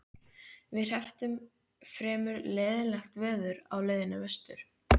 Við hrepptum fremur leiðinlegt veður á leiðinni vestur.